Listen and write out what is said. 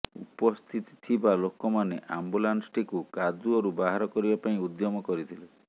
ଉପସ୍ଥିତ ଥିବା ଲୋକମାନେ ଆମ୍ୱୁଲାନ୍ସଟିକୁ କାଦୁଅରୁ ବାହାର କରିବା ପାଇଁ ଉଦ୍ୟମ କରିଥିଲେ